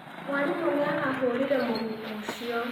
Mwarimũ nĩ arahũũrire mũrutwo ũcio.